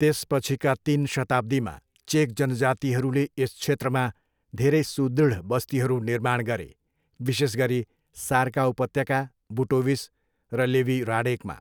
त्यसपछिका तिन शताब्दीमा, चेक जनजातिहरूले यस क्षेत्रमा धेरै सुदृढ बस्तीहरू निर्माण गरे, विशेष गरी सार्का उपत्यका, बुटोविस र लेवी ह्राडेकमा।